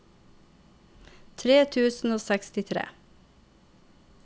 tre tusen og sekstitre